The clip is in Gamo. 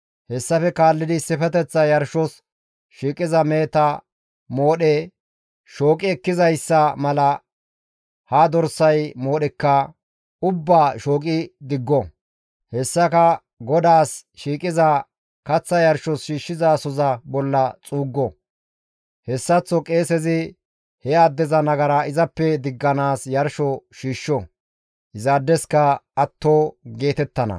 Hessafe kaallidi issifeteththa yarshos shiiqiza meheta moodhe shooqi ekkizayssa mala ha dorsay moodheka ubbaa shooqi digo; hessaka GODAAS shiiqiza kaththa yarshos shiishshizasoza bolla xuuggo; hessaththo qeesezi he addeza nagara izappe digganaas yarsho shiishsho; izaadeska atto geetettana.